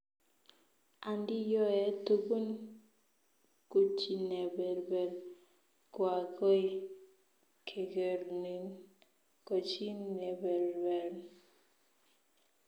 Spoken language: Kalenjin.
Andiyoe tugun kuchineberber, koagoi kegerin ko chi neberber